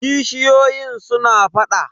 kishiyoyin suna faɗa.